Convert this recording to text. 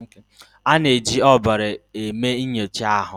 A na-eji ọbara eme nyocha ahụ.